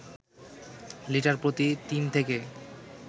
litre প্রতি ৩ থেকে